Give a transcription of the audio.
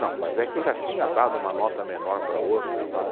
Não, mas é que eu já tinha dado uma nota menor para outra e tal.